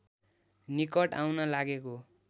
निकट आउन लागेको